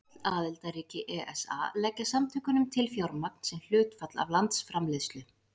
Öll aðildarríki ESA leggja samtökunum til fjármagn sem hlutfall af landsframleiðslu.